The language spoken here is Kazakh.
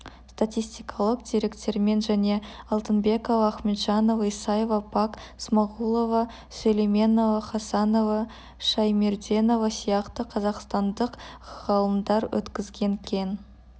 статистикалық деректермен және алтынбекова ахметжанова исаева пак смағұлова сүлейменова хасанова шаймерденова сияқты қазақстандық ғалымдар өткізген кең